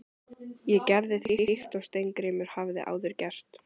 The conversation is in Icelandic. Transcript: Ég gerði því líkt og Steingrímur hafði áður gert.